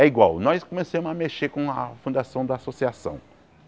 É igual, nós começamos a mexer com a fundação da associação.